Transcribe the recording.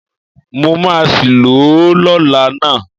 Mo máa sì lò ó lọ́la ná.